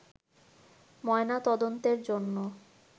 ময়না তদন্তের জন্য